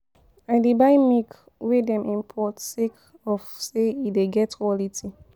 I dey buy di milk wey dem import sake of sey e dey get quality.